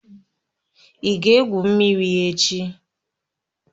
Ị ga-egwu mmiri echi?